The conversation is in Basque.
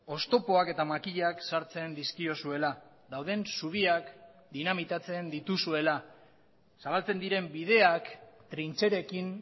oztopoak eta makilak sartzen dizkiozuela dauden zubiak dinamitatzen dituzuela zabaltzen diren bideak trintxerekin